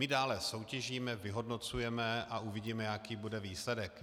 My dále soutěžíme, vyhodnocujeme a uvidíme, jaký bude výsledek.